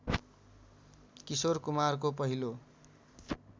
किशोर कुमारको पहिलो